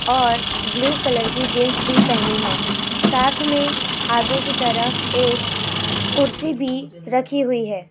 और blue colour की jeans भी पहनी है साथ में आगे की तरफ एक कुर्सी भी रखी हुई है।